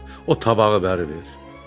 Arvad, o tabağı verib ver.